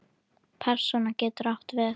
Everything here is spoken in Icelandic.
Persóna getur átt við